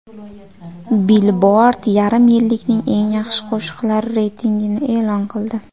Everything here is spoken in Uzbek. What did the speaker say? Billboard yarim yillikning eng yaxshi qo‘shiqlari reytingini e’lon qildi.